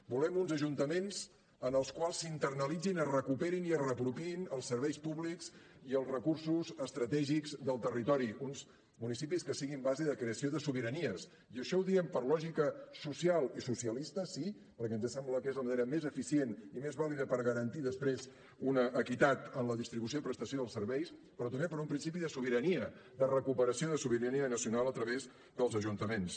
volem uns ajuntaments en els quals s’internalitzin es recuperin i es reapropiïn els serveis públics i els recursos estratègics del territori uns municipis que siguin base de creació de sobiranies i això ho diem per lògica social i socialista sí perquè ens sembla que és la manera més eficient i més vàlida per garantir després una equitat en la distribució i prestació dels serveis però també per un principi de sobirania de recuperació de sobirania nacional a través dels ajuntaments